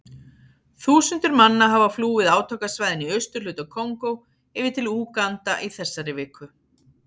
Þúsundir manna hafa flúið átakasvæðin í austurhluta Kongó yfir til Úganda í þessari viku.